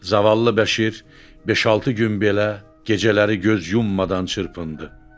Zavallı Bəşir beş-altı gün belə gecələri göz yummadan çırpındı.